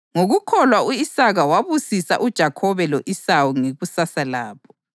Ngokukholwa u-Isaka wabusisa uJakhobe lo-Esawu ngekusasa labo.